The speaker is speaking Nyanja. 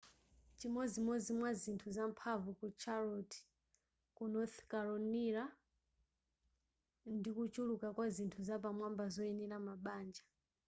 chimodzi mwazinthu zamphamvu ku charlotte ku north carolina ndikuchuluka kwa zinthu zapamwamba zoyenera mabanja